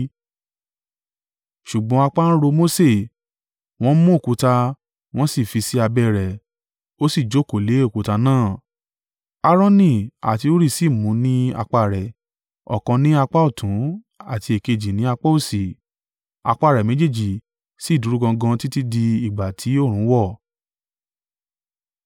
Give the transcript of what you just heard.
Ṣùgbọ́n apá ń ro Mose, wọ́n mú òkúta, wọ́n sì fi sí abẹ́ rẹ̀, ó sì jókòó lé òkúta náà; Aaroni àti Huri sì mu ní apá rẹ̀, ọ̀kan ní apá ọ̀tún àti èkejì ni apá òsì; apá rẹ̀ méjèèjì sì dúró gangan títí di ìgbà ti oòrùn wọ.